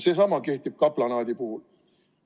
Sama kehtib kaplanaadi puhul.